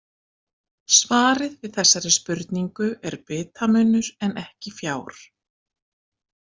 Svarið við þessari spurningu er bitamunur en ekki fjár.